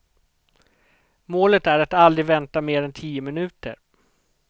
Målet är att aldrig vänta mer än tio minuter.